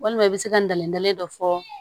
Walima i bɛ se ka n dalen dɔ fɔ